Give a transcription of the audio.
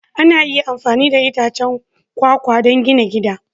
Ana iya amfani da itacen kwakwa don gina gida